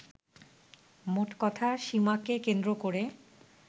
মোটকথা, সীমাকে কেন্দ্র করে